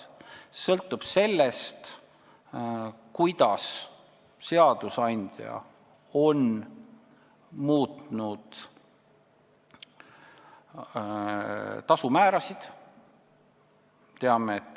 See sõltub ka sellest, kuidas on seadusandja muutnud tasumäärasid.